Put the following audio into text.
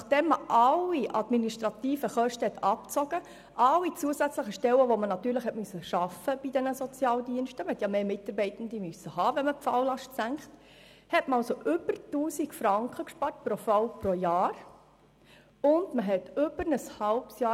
Nachdem alle administrativen Kosten und alle zusätzlichen Stellen, die bei den Sozialdiensten aufgrund der höheren Falllast geschaffen werden mussten, abgezogen wurden – man benötigte durch das Senken der Falllast mehr Mitarbeitende bei den Sozialdiensten –, entstand eine Ersparnis von über 1000 Franken pro Fall und Jahr.